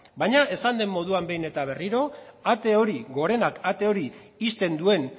baina esan den moduan behin eta berriro ate hori gorenak ate hori ixten duen